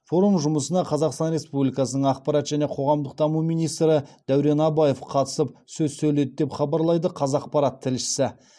форум жұмысына қазақстан республикасының ақпарат және қоғамдық даму министрі дәурен абаев қатысып сөз сөйледі деп хабарлайды қазақпарат тілшісі